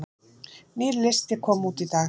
Nýr listi kom út í dag